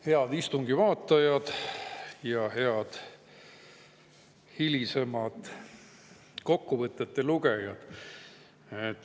Head istungi vaatajad ja head hilisemad kokkuvõtete lugejad!